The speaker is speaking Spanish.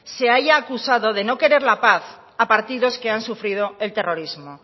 se haya acusado de no querer la paz a partidos que han sufrido el terrorismo